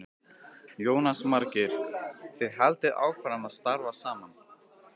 Jónas Margeir: Þið haldið áfram að starfa saman?